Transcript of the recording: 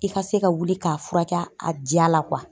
I ka se ka wuli k'a furakɛ a diya la .